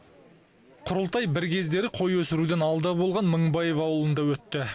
құрылтай бір кездері қой өсіруден алда болған мыңбаев ауылында өтті